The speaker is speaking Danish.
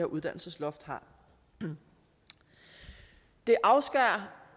uddannelsesloft giver det afskærer